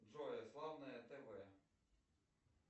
джой славное тв